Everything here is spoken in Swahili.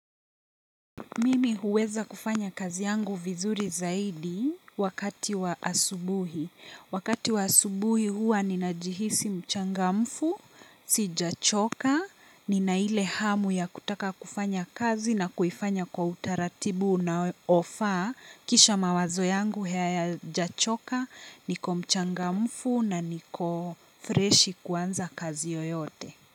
Mimi huweza kufanya kazi yangu vizuri zaidi wakati wa asubuhi. Wakati wa asubuhi huwa ninajihisi mchangamfu, sijachoka, nina ile hamu ya kutaka kufanya kazi na kuifanya kwa utaratibu unofaa kisha mawazo yangu hayajachoka, niko mchangamfu na niko freshi kuanza kazi yoyote.